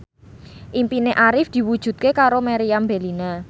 impine Arif diwujudke karo Meriam Bellina